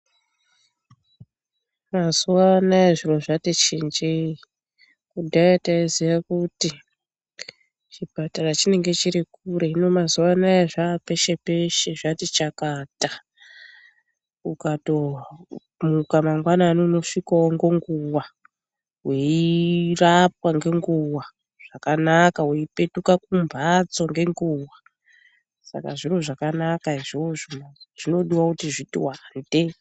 Mazuwa anaya zviro zvati chinjei, kudhaya taiziya kuti chipatara chinenge chiri kure. Hino mazuwa anaya zvaa peshe peshe zvati chakata. Ukatomuka mangwanani unosvikawo ngenguwa weirapwa ngenguwa zvakanaka weipetuka kumphatso ngenguwa. Saka zviro zvakanaka izvozvo zvinodiwa kuti zviti wande.